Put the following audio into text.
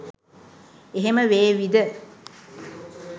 එහෙම වේවිද